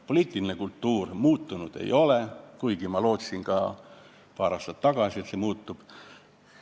Poliitiline kultuur muutunud ei ole, kuigi minagi lootsin paar aastat tagasi, et muutub.